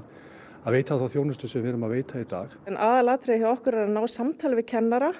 að veita þá þjónustu sem við erum að veita í dag en aðalatriðið hjá okkur er að ná samtali við kennara